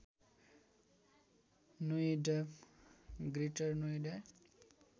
Noida greater Noida